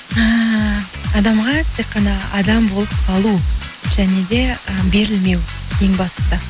ііі адамға тек қана адам болып қалу және де і берілмеу ең бастысы